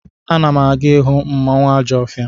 Ana m aga ịhụ mmanwụ Ajọfia.